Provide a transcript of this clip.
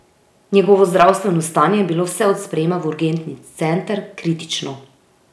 Njegovo zdravstveno stanje je bilo vse od sprejema v urgentni center kritično.